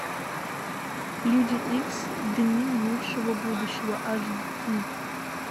люди икс дни минувшего будущего аш ди